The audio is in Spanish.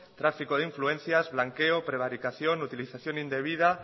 tráfico de influencias blanqueo prevaricación utilización indebida